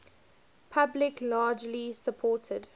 public largely supported